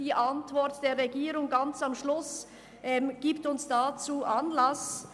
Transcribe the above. – Die Antwort der Regierung gibt uns dazu Anlass.